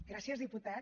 gràcies diputat